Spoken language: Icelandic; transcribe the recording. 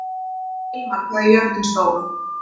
Hilmar, hvað er jörðin stór?